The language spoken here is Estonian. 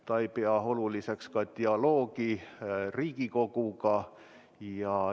Ta ei pea oluliseks ka dialoogi Riigikoguga.